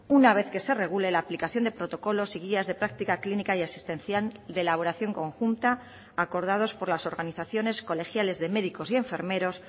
una vez que se regule la aplicación de protocolos y guías de práctica clínica y asistencial de elaboración conjunta acordados por las organizaciones colegiales de médicos y enfermeros